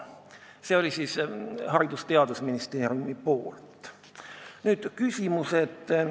See oli Haridus- ja Teadusministeeriumi arvamus.